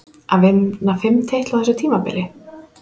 Að vinna fimm titla á þessu tímabili?